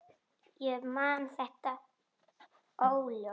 Ég man þetta óljóst.